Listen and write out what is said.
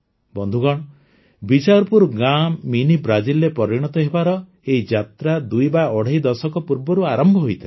ବନ୍ଧୁଗଣ ବିଚାରପୁର ଗାଁ ମିନି ବ୍ରାଜିଲରେ ପରିଣତ ହେବାର ଏଇ ଯାତ୍ରା ଦୁଇ ବା ଅଢ଼େଇ ଦଶକ ପୂର୍ବରୁ ଆରମ୍ଭ ହୋଇଥିଲା